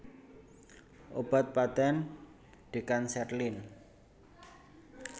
Obat patèn Decancerlin